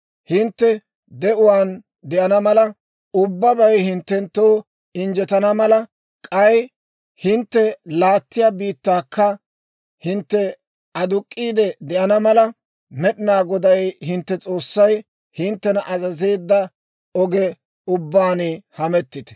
Hintte de'uwaan de'ana mala, ubbabay hinttenttoo injjetana mala, k'ay hintte laattiyaa biittankka hintte aduk'k'iide de'ana mala, Med'inaa Goday hintte S'oossay hinttena azazeedda oge ubbaan hemettite.